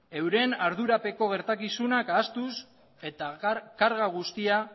euren ardurapeko gertakizunak ahaztuz eta karga guztia